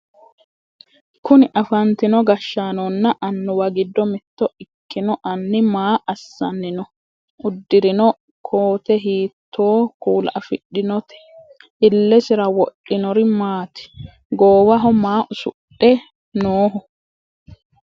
kuni afantino gashshaanonna annuwa giddo mitto ikino anni maa asssanni no? uddirino kkote hiittoo kuula afidhinote? illesira wodhinori maati? goowaho maa usudhe nooho?